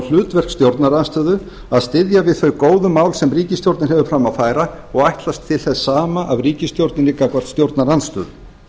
hlutverk stjórnarandstöðu að styðja við þau góðu mál sem ríkisstjórnin hefur fram að færa og ætlast til þess sama af ríkisstjórninni gagnvart stjórnarandstöðu